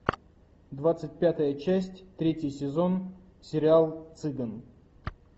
двадцать пятая часть третий сезон сериал цыган